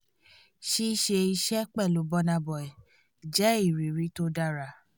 ṣíṣe iṣẹ́ pẹ̀lú burna boy jẹ́ ìrírí tó dára